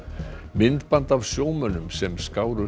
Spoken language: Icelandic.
myndband af sjómönnum sem skáru